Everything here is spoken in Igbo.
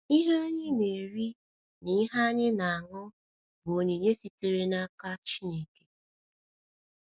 Ihe anyị na - eri na ihe ihe anyị na - aṅụ bụ onyinye sitere n’aka Chineke.